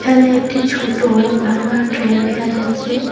এখানে একটি ছোট ভাঙ্গা ট্রেন দেখা যাচ্ছে।